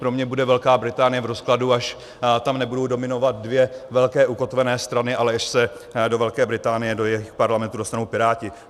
Pro mě bude Velká Británie v rozkladu, až tam nebudou dominovat dvě velké ukotvené strany, ale až se do Velké Británie, do jejich parlamentu dostanou piráti.